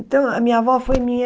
Então, a minha avó foi minha...